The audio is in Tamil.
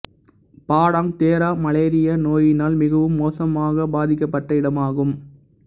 பாடாங் தெராப் மலேரியா நோயினால் மிகவும் மோசமாகப் பாதிக்கப்பட்ட இடமாகும்